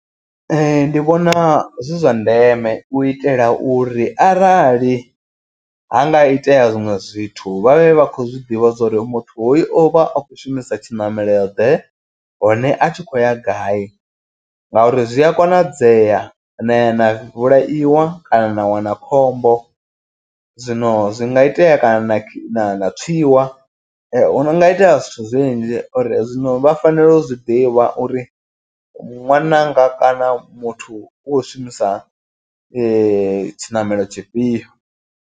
Ndi vhona zwi zwa ndeme u itela uri arali ha nga itea zwiṅwe zwithu vha vhe vha khou zwiḓivha zwori muthu hoyo o vha a khou shumisa tshiṋamelo ḓe. Hone a tshi khou ya gai ngauri zwi a konadzea na ya na vhulaiwa kana na wana khombo. Zwino zwi nga itea kana na na tswiwa hu nga itea zwithu zwinzhi. Uri zwino vha fanela u zwiḓivha uri ṅwananga kana muthu u khou shumisa tshiṋamelo tshifhio.